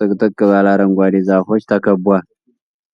ጥቅጥቅ ባለ አረንጓዴ ዛፎች ተከቧል።